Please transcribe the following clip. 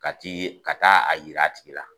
Ka ti ka taa a yira a tigi la.